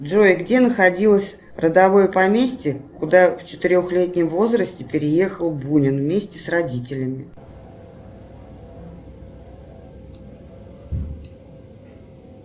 джой где находилось родовое поместье куда в четырехлетнем возрасте переехал бунин вместе с родителями